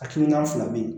Hakilina fila bɛ yen